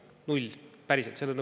Null, päriselt!